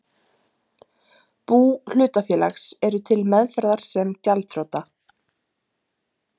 bú hlutafélags, eru til meðferðar sem gjaldþrota.